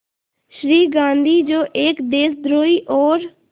श्री गांधी जो एक देशद्रोही और